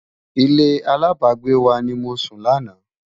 ilé alábágbé wà nì mọ sùn lànà